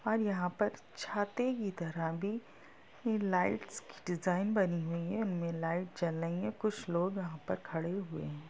और यहां पर छाते की तरह भी ये लाइट्स की डिजाइन बनी हुई है इनमे लाइट् जल रही है कुछ लोग यहां पर खड़े हुए है।